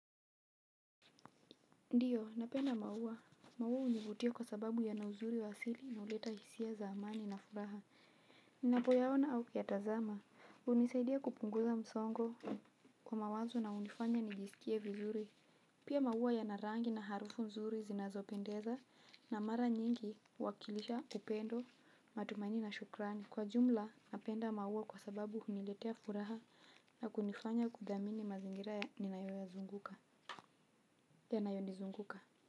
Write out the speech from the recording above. Ndiyo, napenda maua. Maua univutia kwa sababu yana uzuri wa asili na uleta hisia za amani na furaha. Ninapoyaona au kuyatazama. Unisaidia kupunguza msongo wa mawazo na unifanya nijiskie vizuri. Pia maua yana rangi na harufu nzuri zinazo pendeza na mara nyingi huwakilisha upendo, matumaini na shukrani. Kwa jumla, napenda maua kwa sababu uniletea furaha na kunifanya kudhamini mazingira ninayoyazunguka yanayonizunguka.